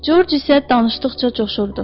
Corc isə danışdıqca coşurdu.